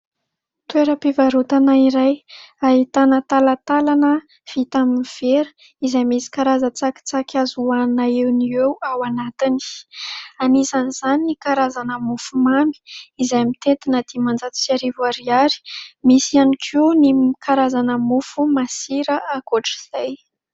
Toeram-pivarotana iray ahitana talatalana vita amin'ny vera izay misy karazan-tsakitsaky azo hanina eo no ho eo ao anatiny. Anisan' izany ny karazana mofo mamy izay mitentina dimanjato sy arivo ariary. Misy ihany koa ny karazana mofo masira ankoatra izay.